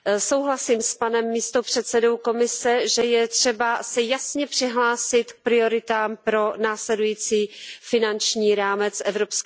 Souhlasím s panem místopředsedou Komise, že je třeba se jasně přihlásit k prioritám pro následující finanční rámec EU.